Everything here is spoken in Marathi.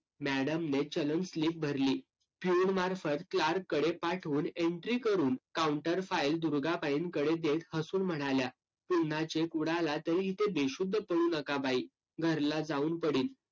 madam ने चलन slip भरली. peon मार्फत clerk कडे पाठवून entry करून counter file दुर्गाबाईंकडे देत हसून म्हणाल्या, पुन्हा cheque उडाला तरी इथे बेशुद्ध पडू नका बाई. घरला जाऊन पडीन.